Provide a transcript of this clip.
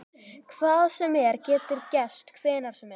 Hvað sem er getur gerst hvenær sem er.